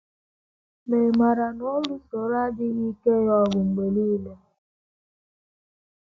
Ma ị̀ maara na ọ lụsoro adịghị ike ya ọgụ mgbe nile??